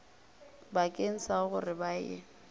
bakeng sa gore ba e